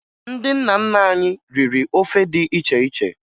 Ndị nna nna anyị riri ofe dị iche iche